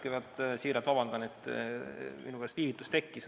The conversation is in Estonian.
Kõigepealt palun siiralt vabandust, et minu pärast viivitus tekkis.